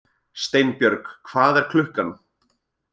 Steinbjörg, hvað er klukkan?